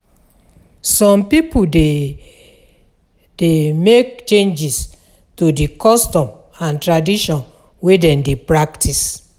Some pipo de dey make changes to di custom and tradition wey dem de practice